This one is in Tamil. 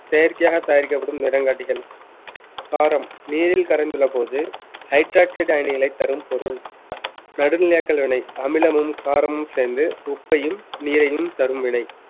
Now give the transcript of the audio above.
செயற்கையாக தயாரிக்கப்படும் நிறங்காட்டிகள் காரம் நீரில் கரைந்துள்ளபோது hydroxide அணிகளை தரும் பொருள் நடுநிலையாக்கள் வினை அமிலமும் காரமும் சேர்ந்து உப்பையும் நீரையும் தரும் வினை